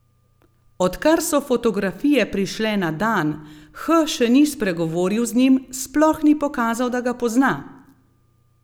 Odkar so fotografije prišle na dan, H še ni spregovoril z njim, sploh ni pokazal, da ga pozna.